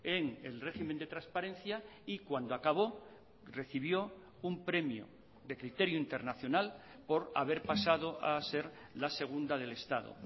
en el régimen de transparencia y cuando acabó recibió un premio de criterio internacional por haber pasado a ser la segunda del estado